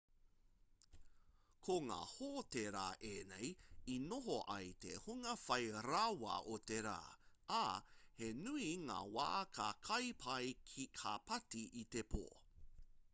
ko ngā hōtērā ēnei i noho ai te hunga whai rawa o te rā ā he nui ngā wā ka kai pai ka pāti i te pō